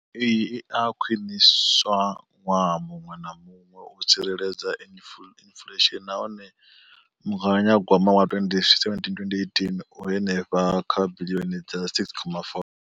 Iyi i a khwiniswa ṅwaha muṅwe na muṅwe u tsireledza inflesheni nahone mugaganyagwama wa 2017 2018 u henefha kha biḽioni dza R6.4.